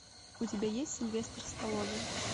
у тебя есть сильвестр сталлоне